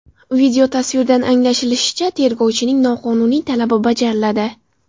Videotasvirdan anglashilishicha, tergovchining noqonuniy talabi bajariladi.